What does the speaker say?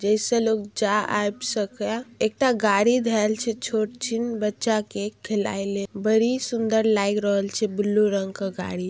जेसे लोग जा आ सके है| एक ता गाड़ी धेल छे छो जिन बच्चा के खिलाय ले बड़ी सुन्दर लाइग रहेल छे ब्लू रंग का गाड़ी।